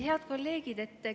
Head kolleegid!